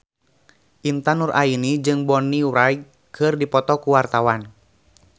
Intan Nuraini jeung Bonnie Wright keur dipoto ku wartawan